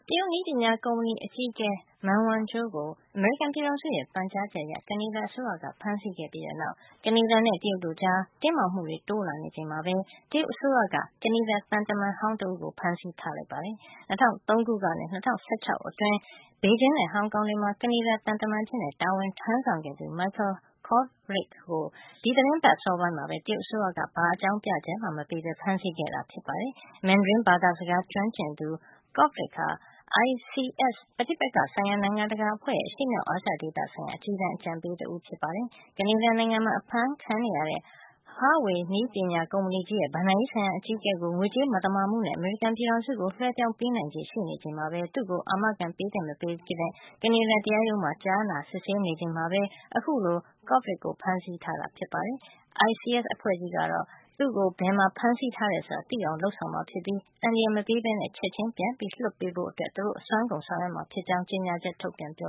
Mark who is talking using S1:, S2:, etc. S1: တရုတ်နည်းပညာ ကုမ္ပဏီအကြီးအကဲ Meng Wanzhou ကို အမေရိကန်ပြည်ထောင်စုရဲ့ ပန်ကြားချက်အရ ကနေဒါအစိုးရက ဖမ်းဆီးခဲ့ပြီးတဲ့နောက် ကနေဒါနဲ့ တရုတ်တို့ကြား တင်းမာမှုတွေ တိုးနေချိန်မှာပဲ တရုတ်အစိုးရက ကနေဒါသံတမန်ဟောင်း တဦးကို တရုတ်နိုင်ငံထဲမှာ ဖမ်းဆီး ထားလိုက်ပါတယ်။ ၂၀၀၃ ခုနှစ်ကနေ ၂၀၁၆ ခုနှစ်အတွင်း ဘေဂျင်းနဲ့ ဟောင်ကောင်တွေမှာ ကနေဒါ သံတမန်အဖြစ် တာဝန်ထမ်းဆောင်ခဲ့သူ Michael Kovrig ကို ဒီသီတင်းပတ်အစောပိုင်းမှာပဲ တရုတ်အစိုးရက ဘာအကြောင်းပြချက်မှ မပေးပဲ ဖမ်းဆီးခဲ့တာ ဖြစ်ပါတယ်။ Mandarin ဘာသာစကား ကျွမ်းကျင်သူ Kovrig ဟာ ICS ပဋိပက္ခဆိုင်ရာ နိုင်ငံတကာအဖွဲ့ရဲ့ အရှေ့မြောက် အာရှဒေသဆိုင်ရာ အကြီးတန်း အကြံပေးဖြစ်ပါတယ်။ Canada နိုင်ငံမှာ အဖမ်းဆီးခံထားရတဲ့ Huawei နည်းပညာကုမ္ပဏီကြီးရဲ့ ဘဏ္ဍာရေးဆိုင်ရာအကြီးအကဲကို အီရန် အပေါ် အမေရိကန်ရဲ့ ဒဏ်ခတ်ပိတ်ဆို့မှုကို ချိုးဖေါက်မှုနဲ့ အမေရိကန်ပြည်ထောင်စုကို လွဲှပြောင်းပေးနိုင်ချေ ရှိနေချိန်မှာပဲ သူ့ကိုအာမခံပေးသင့် မပေးသင့် ကနေဒါတရားရုံးမှာ ကြားနာစစ်ဆေးနေစဉ် Kovrig ကို အခုလို တရုတ်အစိုးရက ဖမ်းဆီးထားတာ ဖြစ်ပါတယ်။ ICS အဖွဲ့ကြီးကတော့ Michael Kovrig ကို ဘယ်မှာ ဖမ်းဆီးထားတယ်ဆိုတာ သိအောင်လုပ်ဆောင်မှာ ဖြစ်ကြောင်းနဲ့ သူ့ကို အန္တရာယ် မပေးပဲ ချက်ချင်းပြန်လွတ်ပေးရေးအတွက် သူတို့အစွမ်းကုန် ဆောင်ရွက်မှာ ဖြစ်ကြောင်း ကြေညာချက် ထုတ်ပြန်ပ